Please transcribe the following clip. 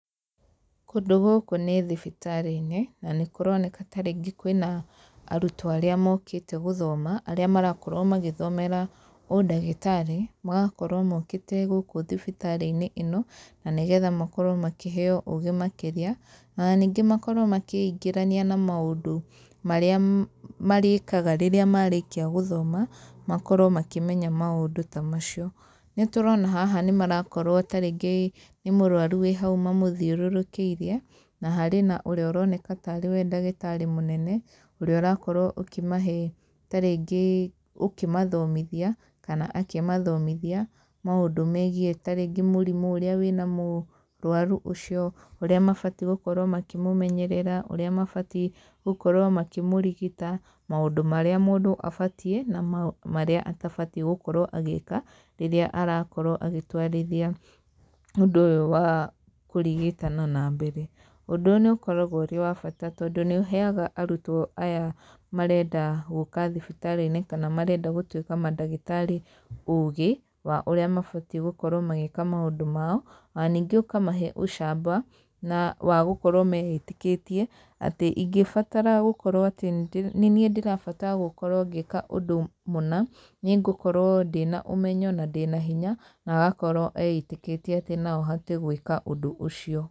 Kũndũ gũkũ nĩ thibitarĩ-inĩ, na nĩ kũroneka ta rĩngĩ kwĩna arutwo arĩa mokĩte gũthoma, arĩa marakorwo magĩthomera ũndagĩtarĩ, magakorwo mokĩte gũkũ thibitarĩ-inĩ ĩno, na nĩgetha makorwo makĩheo ũgĩ makĩria, ona ningĩ makorwo makĩingĩrania na maũndũ marĩa marĩkaga rĩrĩa marĩkia gũthoma, makorwo makĩmenya maũndũ ta macio, nĩ tũrona haha nĩ marakorwo ta rĩngĩ nĩ mũrwaru wĩ hau mamũthiũrũrũkĩirie, na harĩ na ũrĩa ũroneka tarĩ we ndagĩtarĩ mũnene, ũrĩa ũrakorwo ũkĩmahe ta rĩngĩ ũkĩmathomithia kana akĩmathomithia maũndũ megiĩ ta rĩngĩ mũrimũ ũrĩa wĩna mũrwaru ũcio ũrĩa mabatie gũkorwo makĩmũmenyerera, ũrĩa mabatie gũkorwo makĩmũrigita, maũndũ marĩa mũndũ abatie na maũndũ marĩa atabatie gũkorwo agĩka, rĩrĩa arakorwo agĩtwarithia ũndũ ũyũ wa kũrigitana na mbere. Ũndũ ũyũ nĩ ũkoragwo ũrĩ wa bata tondũ nĩ ũheaga arutwo aya marenda gũka thibitarĩ-inĩ kana marenda gũtwĩka mandagĩtarĩ ũgĩ wa ũrĩa mabatie gũkorwo magĩka maũndũ mao, ona ningĩ ũkamahe ũcamba na wa gũkorwo meĩtĩkĩtie, atĩ ingĩbatara gũkorwo atĩ nĩ niĩ ndĩrabatara gũkorwo ngĩka ũndũ mũna, nĩ ngũkorwo ndĩna ũmenyo na ndĩna hinya, na agakorwo eĩtĩkĩtie atĩ no ahote gwĩka ũndũ ũcio.